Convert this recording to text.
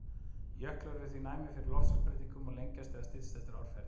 Jöklar eru því næmir fyrir loftslagsbreytingum og lengjast eða styttast eftir árferði.